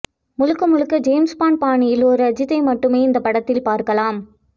முழுக்க முழுக்க ஜேம்ஸ்பாண்ட் பாணியில் ஒரு அஜித்தை மட்டுமே இந்த படத்தில் பார்க்கலாம்